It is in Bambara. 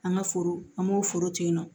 An ka foro an b'o foro tigɛ yen nɔ